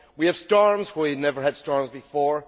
We have storms where we never had storms before.